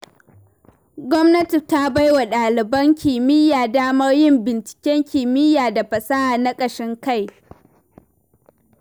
Gwamnati ta baiwa ɗaliban kimiyya damar yin binciken kimiyya da fasaha na ƙashin kai.